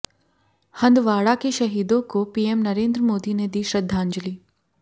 हंदवाड़ा के शहीदों को पीएम नरेंद्र मोदी ने दी श्रद्धांजलि